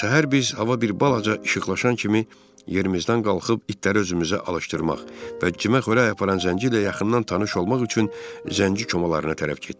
Səhər biz hava bir balaca işıqlaşan kimi yerimizdən qalxıb itləri özümüzə alışdırmaq və cimə xörək aparan zənci ilə yaxından tanış olmaq üçün zənci komalarına tərəf getdik.